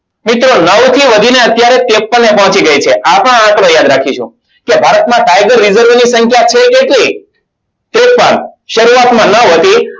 મિત્રો નવ થી વધીને અત્યારે ત્રેપન એ પહોંચી ગઈ છે. આ પણ આંકડો યાદ રાખીશું તો ભારતમાં tiger reserve ની સંખ્યા છે. કેટલી ત્રેપન શરૂઆતમાં ન વધી